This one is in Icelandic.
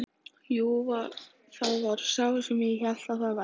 Jú, það var sá sem ég hélt að það væri!